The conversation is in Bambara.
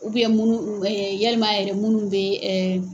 munnu ɛ yalima yɛrɛ minnu bɛ ɛ.